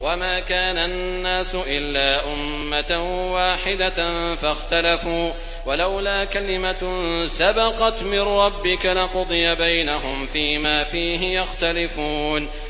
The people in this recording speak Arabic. وَمَا كَانَ النَّاسُ إِلَّا أُمَّةً وَاحِدَةً فَاخْتَلَفُوا ۚ وَلَوْلَا كَلِمَةٌ سَبَقَتْ مِن رَّبِّكَ لَقُضِيَ بَيْنَهُمْ فِيمَا فِيهِ يَخْتَلِفُونَ